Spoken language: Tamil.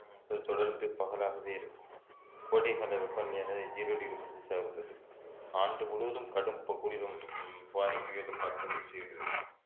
உம் தொ~ தொடர்ந்து பகலாகவே இருக்கும் கோடைகால வெப்பநிலையானது ஜீரோ டிகிரி செல்ஸியஸாக உள்ளது ஆண்டு முழுவதும் கடும் ப~ குளிரும் காற்றும் வீசுகிறது